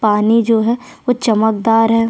पानी जो है वो चमकदार है।